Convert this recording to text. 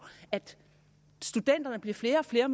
at der bliver flere og flere